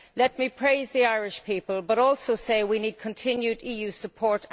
Let me praise the Irish people but also say, we need continued EU support